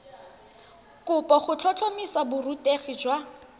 kopo go tlhotlhomisa borutegi jwa